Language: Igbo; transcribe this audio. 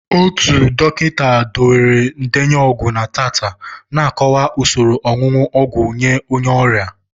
Otu dọkịta debere ndenye ọgwụ na teta na-akọwa usoro onunu ogwu nye onye ọrịa.